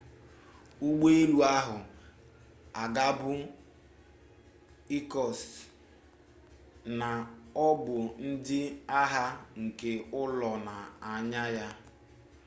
ụgbọelu ahụ na-agabu irkutsk na ọ bụ ndị agha nke ụlọ na-anya ya